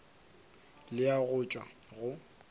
le a go tšwa go